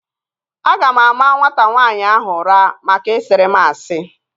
Aga m ama nwata nwaanyị ahụ ụra maka ị siri m asị